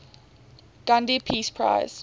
gandhi peace prize